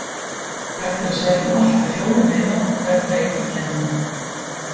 Hægt er að sækja um allt að fjóra miða á hvern leik í keppninni.